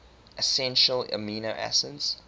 essential amino acids